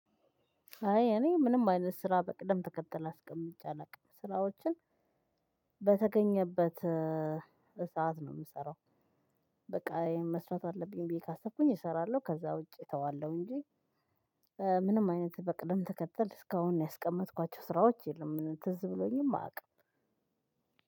አይ እኔ ምንም አይነት ስራ በቅደም ተከተል አስቀምጬ አላውቅም ስራዎችን በተገኘበት እሳት ነው የምሰራው። በቃ መስራት አለብኝ ብዬ ካሰብኩኝ እሰራለሁ ከዛ ውጪ እተዋለሁ እንጂ። ምንም አይነት በቅድም ተከተል እስካሁን ያስቀመጥኳቸው ስራዎች የለም ትዝ ብሎኝም አውቅ